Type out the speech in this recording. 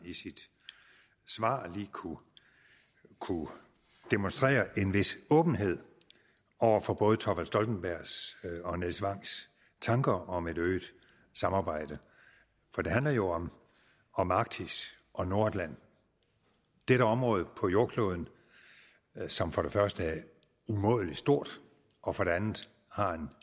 i sit svar lige kunne kunne demonstrere en vis åbenhed over for både thorvald stoltenbergs og nils wangs tanker om et øget samarbejde for det handler jo om om at arktis og nordatlanten dette område på jordkloden som for det første er umådelig stort og for det andet har en